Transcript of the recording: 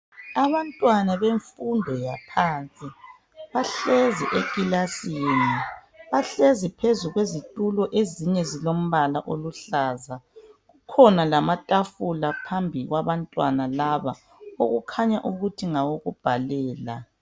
Abantwana bemfundo yaphansi, bahlezi ekilasini, bahlezi phezu kwezitulo, ezinye zilombala oluhlaza, kukhona lama tafula phambi kwabantwana laba okukhanya ukuthi ngawokubhalela